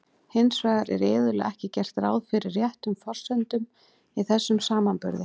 Hins vegar er iðulega ekki gert ráð fyrir réttum forsendum í þessum samanburði.